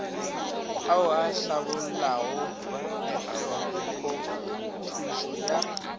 ao a hlabollago methopothušo ya